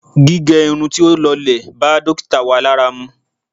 Gígẹ irun tí ó lọlẹ̀ bá dókítà wa lára mu.